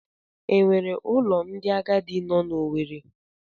E nwere ụlọ ndị agadi nọ n'Owere?